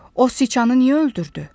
O siçanı niyə öldürdü?